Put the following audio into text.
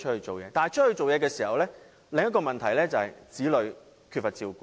但是，外出工作衍生另一個問題就是，子女缺乏照顧。